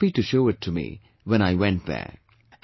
And she was happy to show it to me, when I went there